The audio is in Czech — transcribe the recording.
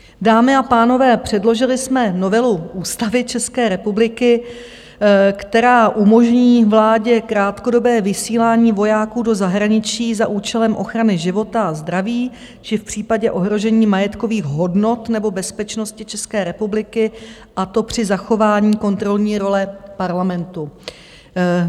Dámy a pánové, předložili jsme novelu Ústavy České republiky, která umožní vládě krátkodobé vysílání vojáků do zahraničí za účelem ochrany života a zdraví, či v případě ohrožení majetkových hodnot nebo bezpečnosti České republiky, a to při zachování kontrolní role Parlamentu.